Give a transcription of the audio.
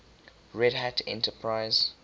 red hat enterprise